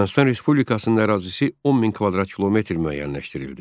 Ermənistan Respublikasının ərazisi 10 min kvadrat kilometr müəyyənləşdirildi.